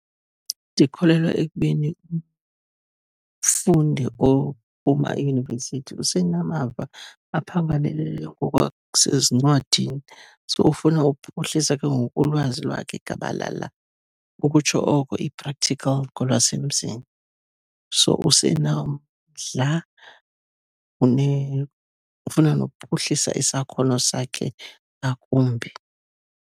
Ndikholelwa ekubeni umfundi oma eyunivesithi usenamava aphangaleleyo ngokwasezincwadini, so ufuna ukuphuhlisa ke ngoku ulwazi lakhe gabalala, ukutsho oko i-practical ngolwasemzini. So, usenomdla, ufuna nokuphuhlisa isakhono sakhe ngakumbi.